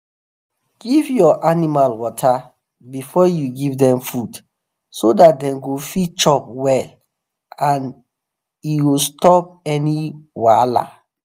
give ur animal water before you give them food so that them go fit chop well and e ho stop any wahal